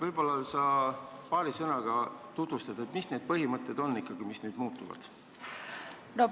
Võib-olla sa paari sõnaga tutvustad, mis põhimõtted nüüd ikkagi muutuvad?